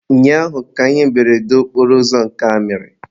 ụnyaahụ ka ihe mberede okporoụzọ nke a mere.